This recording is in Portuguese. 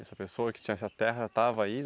Essa pessoa que tinha essa terra já estava aí?